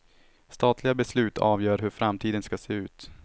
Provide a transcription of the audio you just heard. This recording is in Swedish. Statliga beslut avgör hur framtiden ska se ut.